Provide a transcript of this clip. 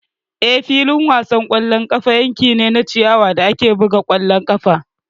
Eh, filin wasan ƙwallon ƙafa yanki ne na ciyawa da ake buga ƙwallon ƙafa.